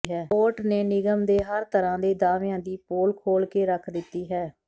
report ਨੇ ਨਿਗਮ ਦੇ ਹਰ ਤਰ੍ਹਾਂ ਦੇ ਦਾਅਵਿਆਂ ਦੀ ਪੋਲ ਖੋਲ੍ਹ ਕੇ ਰੱਖ ਦਿੱਤੀ ਹੈ